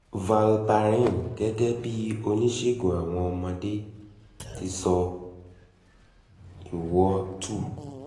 valparin gẹ́gẹ́ bí oníṣègù àwọn ọmọde ti sọ ìwọ two